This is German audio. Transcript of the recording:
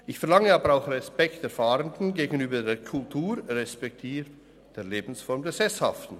Ich verlange aber auch den Respekt der Fahrenden gegenüber der Kultur respektive der Lebensform der Sesshaften.